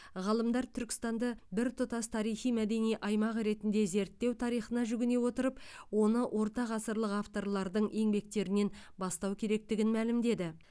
ғалымдар түркістанды біртұтас тарихи мәдени аймақ ретінде зерттеу тарихына жүгіне отырып оны ортағасырлық авторлардың еңбектерінен бастау керектігін мәлімдеді